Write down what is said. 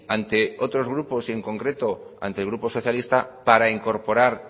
ante otros grupos y en concreto ante el grupo socialista para incorporar